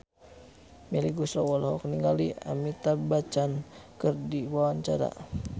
Melly Goeslaw olohok ningali Amitabh Bachchan keur diwawancara